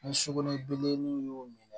Ni sokɔnɔ bilemaninw y'o minɛ